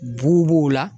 B'u b'o la